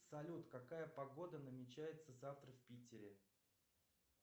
салют какая погода намечается завтра в питере